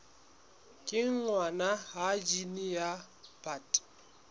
kenngwa ha jine ya bt